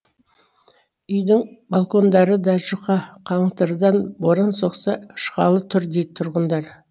үйдің балкондары да жұқа қаңылтырдан боран соқса ұшқалы тұр дейді тұрғындар